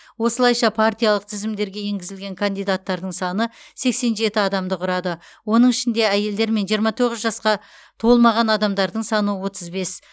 осылайша партиялық тізімдерге енгізілген кандидаттардың саны сексен жеті адамды құрады оның ішінде әйелдер мен жиырма тоғыз жасқа толмаған адамдардың саны отыз бес